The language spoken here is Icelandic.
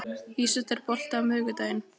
Ísold, er bolti á miðvikudaginn?